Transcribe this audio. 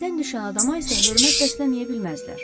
Göydən düşən adama isə hörmət bəsləməyə bilməzlər.